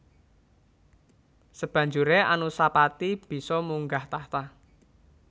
Sabanjuré Anusapati bisa munggah tahta